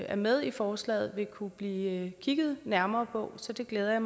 er med i forslaget vil kunne blive kigget nærmere på så det glæder